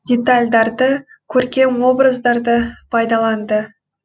детальдарды көркем образдарды пайдаланды